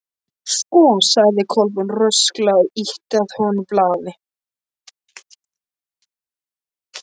Sko sagði Kolbrún rösklega og ýtti að honum blaði.